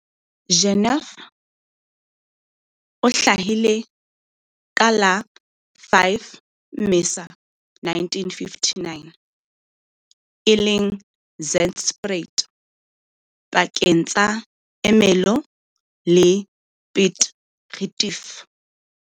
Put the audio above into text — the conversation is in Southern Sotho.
Jeneth o hlahile ka la 5 Mmesa 1959, e leng Zandspruit pakeng tsa Ermelo le Piet Retief.